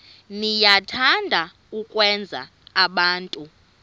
niyathanda ukwenza abantu